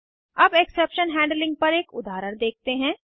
अब exception handling पर एक उदाहरण देखते हैं